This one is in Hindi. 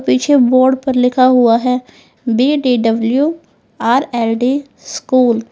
पीछे बोर्ड पर लिखा हुआ है बी_डी_डब्लू_आर_एल_डी स्कूल ।